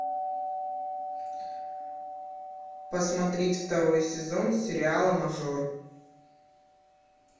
посмотреть второй сезон сериала мажор